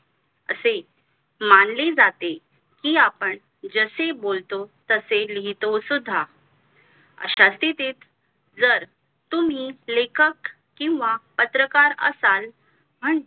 असे मानले जाते कि आपण जसे बोलतो तसे लिहितोसुद्धा अश्या स्तिथीत तुम्ही जर लेखक किंवा पत्रकार असाल